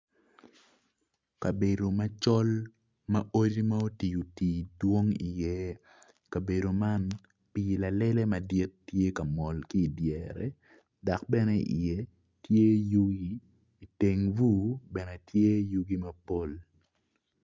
Kabedo macol ma odi ma oti oti dwong i iye kabedo man pii lalele madit tye ka mol ki dyere dok bene i iye tye yugi iteng bur bene tye yugi mapol